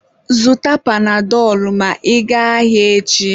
Zụta panadọlụ ma ị gaa ahịa echi